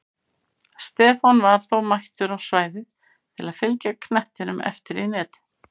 Stefán var þó mættur á svæðið til að fylgja knettinum eftir í netið!